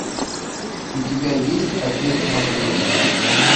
у тебя есть отец матвей